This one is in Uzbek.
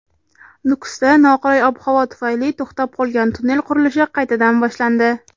Nukusda noqulay ob-havo tufayli to‘xtab qolgan tunnel qurilishi qaytadan boshlandi.